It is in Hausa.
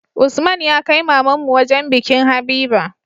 Usman ya kai mamanmu wajan bikin habiba